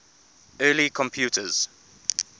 early computers